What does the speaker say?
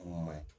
Mun man ɲi